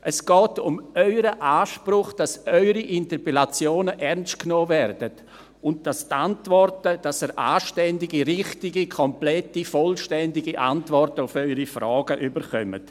Es geht um Ihren Anspruch, dass Ihre Interpellationen ernst genommen werden und dass Sie anständige, richtige, komplette, vollständige Antworten auf Ihre Fragen erhalten.